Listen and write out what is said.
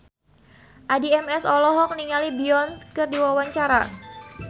Addie MS olohok ningali Beyonce keur diwawancara